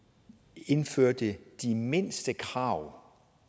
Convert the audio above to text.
indførte de mindste krav